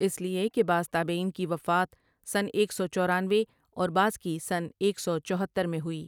اس لیے کہ بعض تابعین کی وفات سنہ ایک سو چورینوے اور بعض کی سنہ ایک سو چوتہر میں ہوئی۔